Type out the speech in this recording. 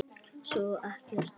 Svo ekkert.